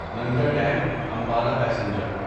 Nangal dam Ambala passenger